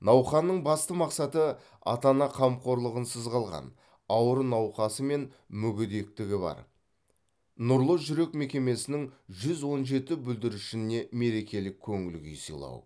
науқанның басты мақсаты ата ана қамқорлығынсыз қалған ауыр науқасы мен мүгедектігі бар нұрлы жүрек мекемесінің жүз он жеті бүлдіршініне мерекелік көңіл күй сыйлау